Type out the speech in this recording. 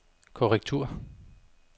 korrektur